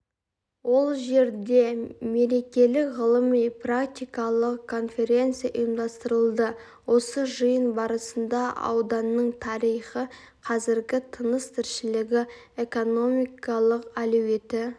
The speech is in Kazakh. ол жерде мерекелік ғылыми-практикалық конференция ұйымдастырылды осы жиын барысында ауданның тарихы қазіргі тыныс-тіршілігі экономикалық әлеуеті